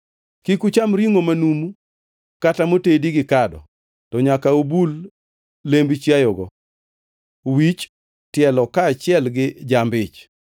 Kik ucham ringʼo manumu kata motedi gi kado to nyaka ubul lemb chiayogo; wich, tielo kaachiel gi jamb-ich.